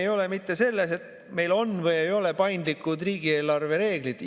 Ei ole mitte selles, et meil on või ei ole paindlikud riigieelarve reeglid.